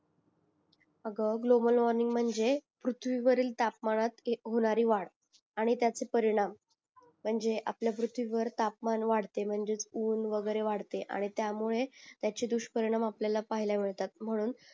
आग global warming म्णजे पृथ्वीवरील तापमानात होणारी वाढ आणि त्याचे परिणाम म्णजे आपल्या पृथ्वीवर तापमान वाढते मणजेच ऊन वैगेरे वाढते आणि त्यामुळे त्याचे दुषपरिणाम आपल्याला पाहिला मिळतात म्हणून